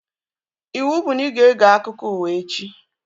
Ịwụ bụ na ị ga-ege akụkọ ụwa echi!